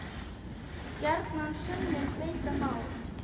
Gjarnan sönnum beita má.